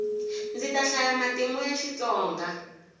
ndzi ta hlaya matimu ya xitsonga